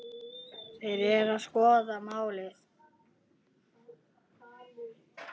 Þeir eru að skoða málið.